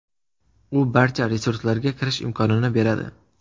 U barcha resurslarga kirish imkonini beradi.